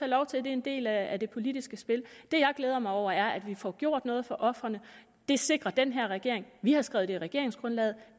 lov til det er en del af det politiske spil det jeg glæder mig over er at vi får gjort noget for ofrene det sikrer den her regering vi har skrevet det i regeringsgrundlaget